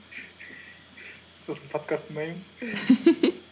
сосын подкаст тыңдаймыз